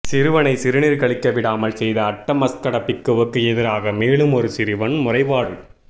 சிறுவனை சிறுநீர் கழிக்க விடாமல் செய்த அட்டமஸ்கட பிக்குவுக்கு எதிராக மேலும் ஒரு சிறுவன் முறைப்பாடு